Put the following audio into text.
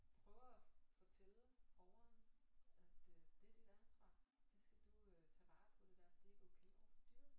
Prøver at fortælle borgeren at øh det er dit ansvar det skal du øh tage vare på det dér det er ikke okay over for dyret